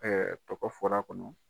Ɛɛ o kɔ fɔra kɔnɔ